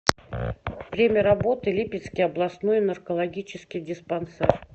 время работы липецкий областной наркологический диспансер